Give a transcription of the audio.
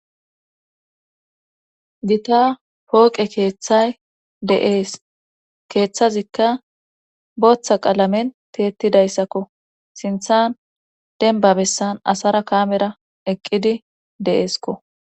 Gita pooqe keeththay de'ees keeththazikka booththa qalamen tiyettidayssakko siinththan denbba bessan asara kammera eqqidi de'eesko